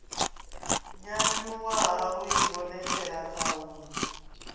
nyanyuwa ha u ivhonetshela khahulo